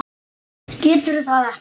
Getur það ekki.